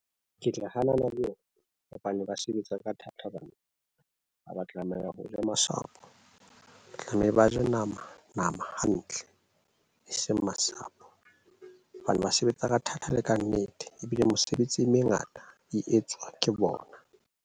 Ke tla hanana le yona hobane ba sebetsa ka thata ha ba tlameha ho ja masapo. Tlameha ba je nama nama hantle, e seng masapo hobane ba sebetsa ka thata e le ka nnete, ebile mesebetsi e mengata e etswa ke bona.